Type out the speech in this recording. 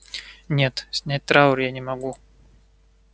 нет снять траур я не могу